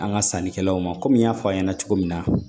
An ka sannikɛlaw ma kɔmi n y'a fɔ a ɲɛna cogo min na